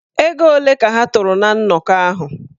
Ego ole ka ha tụrụ ná nnọkọ ahụ?